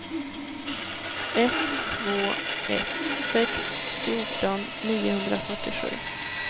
ett två ett sex fjorton niohundrafyrtiosju